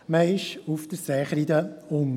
Man ist auf der Seekreide unten.